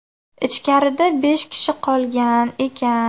Ichkarida besh kishi qolgan ekan.